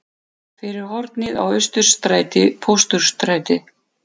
Fyrir hornið á Austurstræti-Pósthússtræti.